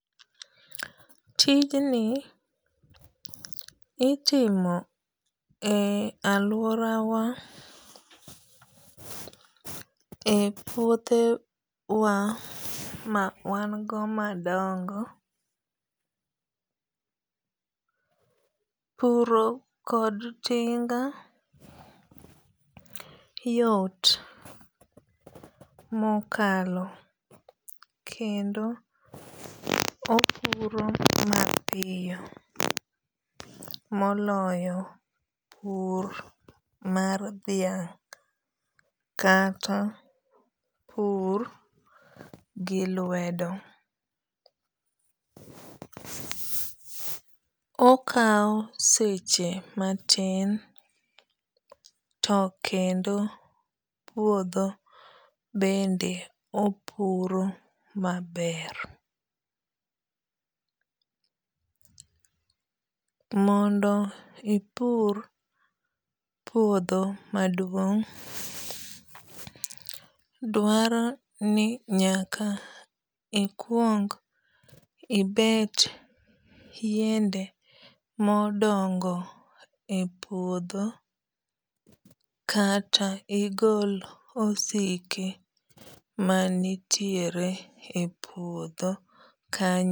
Tijni itimo e aluorawa e puothe wa ma wan go madongo. Puro kod tinga yot mokalo kendo opuro mapiyo moloyo pur mar dhiang' kata our gi lwedo. Okaw seche matin to kendo puodho bende opuro maber. Mondo ipur puodho maduong', dwaro ni nyaka ikuong ibet yiende modongo e puodho kata igol osike manitiere e puodho.